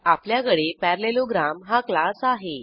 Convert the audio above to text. आपल्याकडे पॅरालेलोग्राम हा क्लास आहे